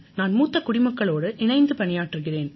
நான் மூத்த குடிமக்களோடு இணைந்து பணியாற்றுகிறேன்